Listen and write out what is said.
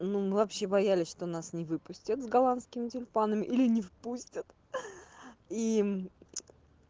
ну мы вообще боялись что нас не выпустят с голландскими тюльпанами или не выпустят и